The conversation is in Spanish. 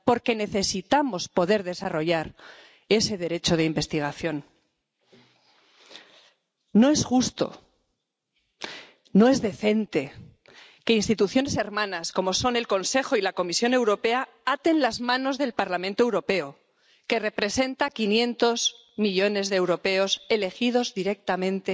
Porque necesitamos poder desarrollar ese derecho de investigación. No es justo, no es decente que instituciones hermanas como son el Consejo y la Comisión Europea aten las manos del Parlamento Europeo —que representa a quinientos millones de europeos que eligen directamente